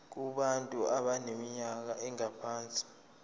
kubantu abaneminyaka engaphansi